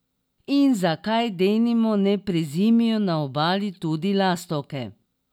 In zakaj denimo ne prezimijo na Obali tudi lastovke?